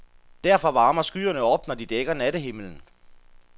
Derfor varmer skyerne op, når de dækker nattehimlen.